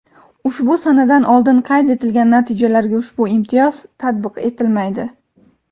Ushbu sanadan oldin qayd etilgan natijalarga ushbu imtiyoz tatbiq etilmaydi.